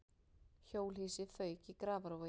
Hjólhýsi fauk í Grafarvogi